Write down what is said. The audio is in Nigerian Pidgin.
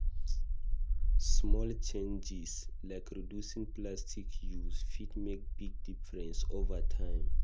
Small changes, like reducing plastic use, fit make big difference over time.